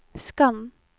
skann